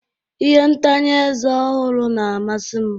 Ihe ntanye eze ọhụrụ na-amasị m